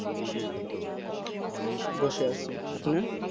বসে আছি তুমি